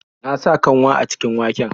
Na sa kanwa a cikin waken.